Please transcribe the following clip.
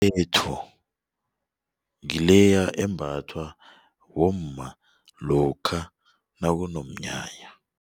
ngileya embathwa bomma lokha nakunomnyanya.